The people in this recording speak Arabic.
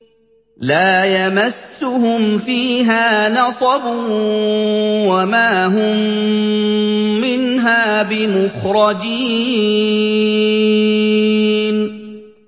لَا يَمَسُّهُمْ فِيهَا نَصَبٌ وَمَا هُم مِّنْهَا بِمُخْرَجِينَ